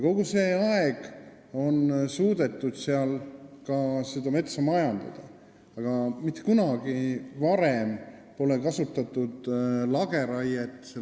Kogu see aeg on suudetud seal ka metsa majandada, aga mitte kunagi varem pole kasutatud lageraiet.